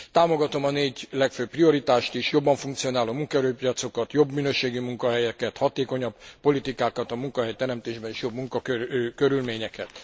Támogatom a négy legfőbb prioritást is, jobban funkcionáló munkaerőpiacokat, jobb minőségű munkahelyeket, hatékonyabb politikákat a munkahelyteremtésben és jobb munkakörülményeket.